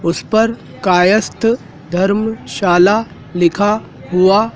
उस पर कायस्थ धरमशाला लिखा हुआ--